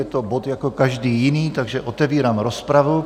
Je to bod jako každý jiný, takže otevírám rozpravu.